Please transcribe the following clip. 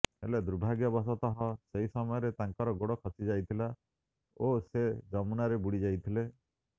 ହେଲେ ଦୁର୍ଭାଗ୍ୟବସତଃ ସେହି ସମୟରେ ତାଙ୍କର ଗୋଡ ଖସିଯାଇଥିଲା ଓ ସେ ଯମୁନାରେ ବୁଡ଼ିଯାଇଥିଲେ